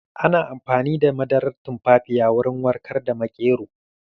Ana amfani da madarar tumfafiya wurin warkar da maƙero.